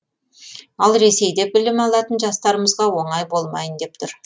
ал ресейде білім алатын жастарымызға оңай болмайын деп тұр